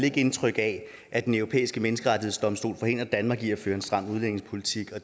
ikke indtryk af at den europæiske menneskerettighedsdomstol forhindrer danmark i at føre en stram udlændingepolitik og